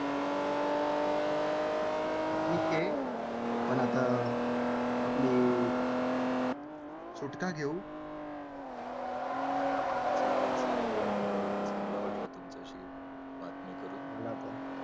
ठीक आहे आपण आता आपली? सुटका घेऊ . चालेल चालेल खूप चांगलं वाटलं तुमचाशी बातमी करून मला. पण.